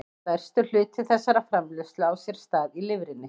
Stærstur hluti þessarar framleiðslu á sér stað í lifrinni.